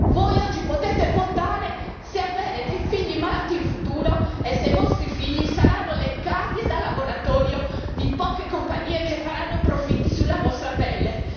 Voi oggi potete votare se avere dei figli malati in futuro e se i vostri figli saranno le cavie da laboratorio di poche compagnie che faranno profitti sulla vostra pelle.